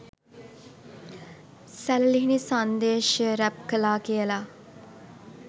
සැළලිහිණි සංදේශය රැප් කළා කියල